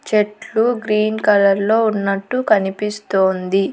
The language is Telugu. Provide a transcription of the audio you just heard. చెట్లు గ్రీన్ కలర్లో ఉన్నట్టు కనిపిస్తోంది.